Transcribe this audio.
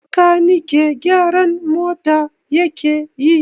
Bakanike gyaran mota yake yi